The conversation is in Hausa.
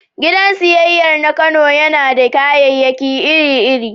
Gidan siyayyar na Kano yana da kayayyaki iri-iri